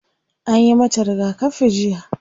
Anyi mata rigakafi jiya.